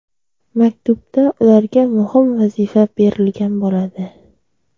Maktubda ularga muhim vazifa berilgan bo‘ladi.